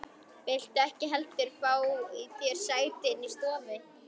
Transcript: Viltu ekki heldur fá þér sæti inni í stofu?